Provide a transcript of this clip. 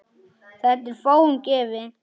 Þetta er fáum gefið.